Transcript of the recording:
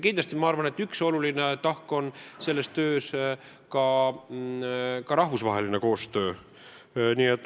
Kindlasti üks oluline tahk selles töös on rahvusvaheline koostöö.